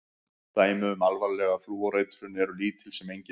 Dæmi um alvarlega flúoreitrun eru lítil sem engin.